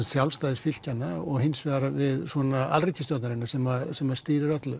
sjálfstæðis fylkjanna og hins vegar við alríkisstjórnarinnar sem sem að stýrir öllu